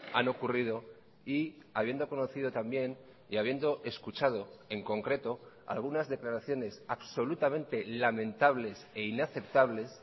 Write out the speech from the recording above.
han ocurrido y habiendo conocido también y habiendo escuchado en concreto algunas declaraciones absolutamente lamentables e inaceptables